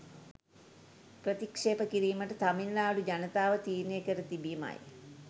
ප්‍රතික්ෂේප කිරීමට තමිල්නාඩු ජනතාව තීරණය කර තිබිමයි